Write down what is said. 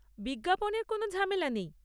বিজ্ঞাপনের কোনও ঝামেলা নেই।